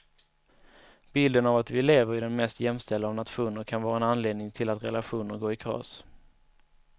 Bilden av att vi lever i den mest jämställda av nationer kan vara en anledning till att relationer går i kras.